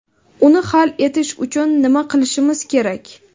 Uni hal etish uchun nima qilishimiz kerak?